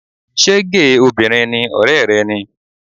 Ṣé géè obìnrin ni ọ̀rẹ́ rẹ ni?